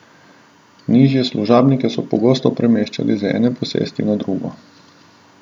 Nižje služabnike so pogosto premeščali z ene posesti na drugo.